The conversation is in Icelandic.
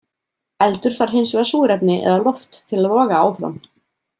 Eldur þarf hins vegar súrefni eða loft til að loga áfram.